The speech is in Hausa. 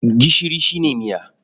Gishiri shi ne miya.